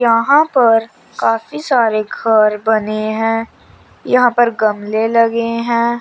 यहां पर काफी सारे घर बने हैं यहां पर गमले लगे हैं।